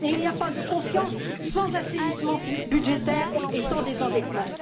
Et il n'y a pas de confiance sans assainissement budgétaire et sans désendettement.